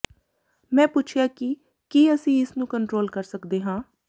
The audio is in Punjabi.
ਮੈਂ ਪੁੱਛਿਆ ਕਿ ਕੀ ਅਸੀਂ ਇਸ ਨੂੰ ਕੰਟਰੋਲ ਕਰ ਸਕਦੇ ਹਾਂ